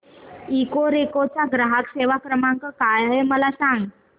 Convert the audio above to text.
Ecoreco चा ग्राहक सेवा क्रमांक काय आहे मला सांग